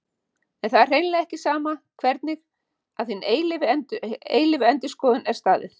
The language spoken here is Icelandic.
En það er hreint ekki sama hvernig að hinni eilífu endurskoðun er staðið.